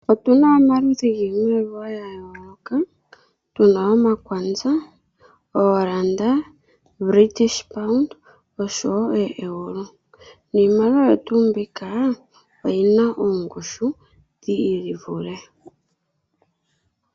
Otuna omaludhi giimaliwa ga yooloka . Tuna omakwanza, ooranda, British paund nosho woo ooEuro. Niimaliwa oyo tuu mbika oyina oongushu dhi ivule.